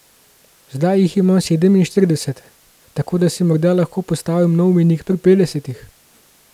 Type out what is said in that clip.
Zdaj jih imam sedeminštirideset, tako da si morda lahko postavim nov mejnik pri petdesetih?